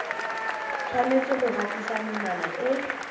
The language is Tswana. tshwanetse go gatisa menwana e